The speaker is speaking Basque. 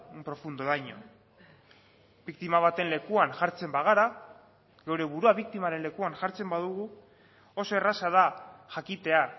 un profundo daño biktima baten lekuan jartzen bagara gure burua biktimaren lekuan jartzen badugu oso erraza da jakitea